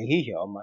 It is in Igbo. Ehihie ọma,